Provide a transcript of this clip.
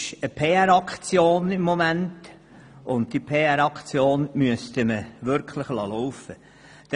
Gegenwärtig ist es eine PRAktion, und diese müsste man wirklich laufen lassen.